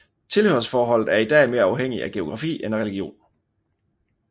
Tilhørsforholdet er i dag mere afhængig af geografi end af religion